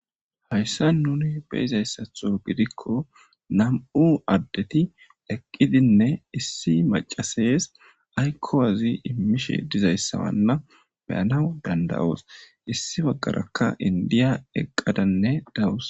Hayssani nuni be'ida issato giddiko nam'u addeti eqqidine issi macasesi ayiko imishe diza issa nu be'anawu danidayos.guye baggaraka indiya eqqadane dawusu.